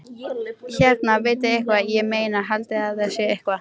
Hérna, vitiði eitthvað. ég meina, haldiði að það sé eitthvað.